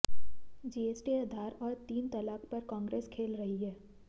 GST Aadhaar और तीन तलाक पर कांग्रेस खेल रही है